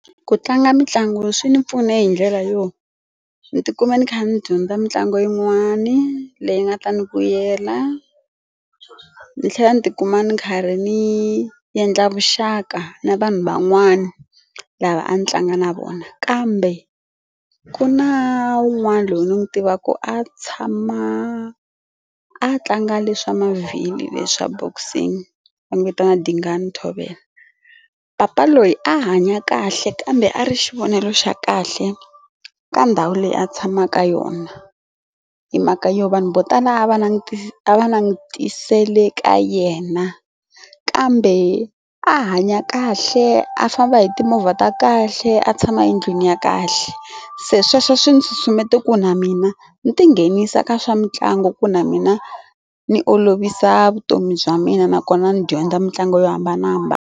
Ku tlanga mitlangu swi ni pfune hi ndlela yo ni tikuma ni kha ni dyondza mitlangu yin'wani leyi nga ta ndzi vuyela ni tlhela ni tikuma ni karhi ni endla vuxaka na vanhu van'wana lava a ni tlanga na vona kambe ku na wun'wana loyi ni n'wi tiva ku a tshama a tlanga leswa mavhilo leswa boxing va n'wi vitana Dingani Thobela papa loyi a hanya kahle kambe a ri xivonele xa kahle ka ndhawu leyi a tshamaka yona hi mhaka yo vanhu vo tala a va langutisa a langutisile ka yena kambe a hanya kahle a famba hi timovha ta kahle a tshama endlwini ni ya kahle se sweswo swi nsusumeto ku na mina ni ti nghenisa ka swa mitlangu ku na mina ni olovisa vutomi bya mina nakona ni dyondza mitlangu yo hambanahambana.